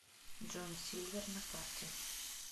джон сильвер на карте